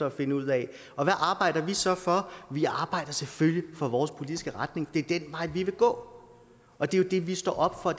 at finde ud af hvad arbejder vi så for vi arbejder selvfølgelig for vores politiske retning det er den vej vi vil gå og det er jo det vi står op for